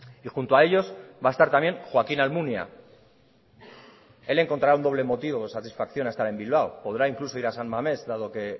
y junto a ellos va a estar también joaquín almunia él encontrará un doble motivo de satisfacción a estar en bilbao podrá incluso ir a san mames dado que